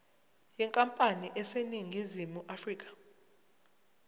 yenkampani eseningizimu afrika